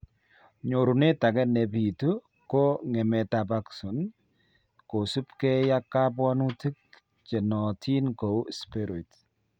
Nyorunet age nebitu ko ng'emetab axon kosubkei ak kabwanutik chenootin kou spheroids